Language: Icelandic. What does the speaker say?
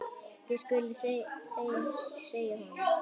Það skuluð þið segja honum!